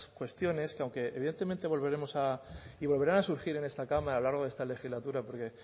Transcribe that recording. cuestiones que aunque evidentemente volveremos a y volverán a surgir en esta cámara a lo largo de esta legislatura porque